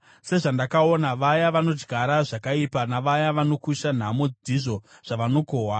Sezvandakaona, vaya vanodyara zvakaipa navaya vanokusha nhamo ndizvo zvavanokohwa.